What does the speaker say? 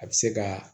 A bɛ se ka